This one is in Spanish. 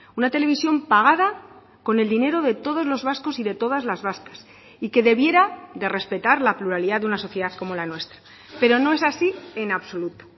una televisión pagada con el dinero de todos los vascos y de todas las vascas y que debiera de respetar la pluralidad de una sociedad como la nuestra pero no es así en absoluto